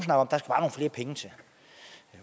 flere penge til